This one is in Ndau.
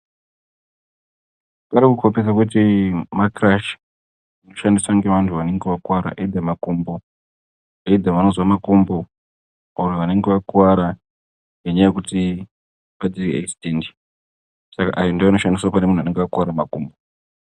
Parikukombidze kuti makirashi anoshandiswa ngevantu vanenge vakuwara angave makumbo, kana vanozwa makumbo kana kuti wakuwara saka aya ndoanoshandiswa kune antu anenge akuwara makumbo .